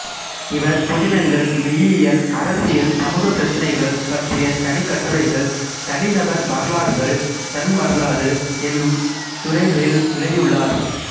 இவர் புதினங்கள் மெய்யியல் அரசியல் சமூகப் பிரச்சினைகள் பற்றிய தனிக்கட்டுரைகள் தனி நபர் வரலாறுகள் தன்வரலாறு என்னும் துறைகளில் எழுதியுள்ளார்